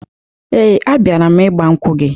Ee, abịara m ịgbankwụ gị